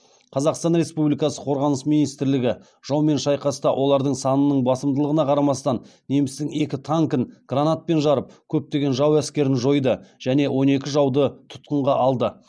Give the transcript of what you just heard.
қазақстан республикасы қорғаныс министрлігі жаумен шайқаста олардың санының басымдығына қарамастан немістің екі танкін гранатпен жарып көптеген жау әскерін жойды және он екі жауды тұтқынға алды